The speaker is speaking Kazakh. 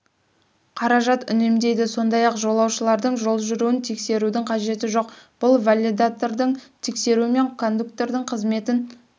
қаражат үнемдейді сондай-ақ жолаушылардың жол жүруін тексерудің қажеті жоқ бұл валидатордың тексеруші мен кондуктордың қызметін